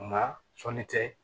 Nka sɔnni tɛ